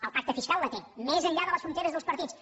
el pacte fiscal la té més enllà de les fronteres dels partits